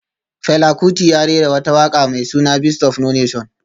Fela Kuti ya rera wata waka mai suna Beast of no nation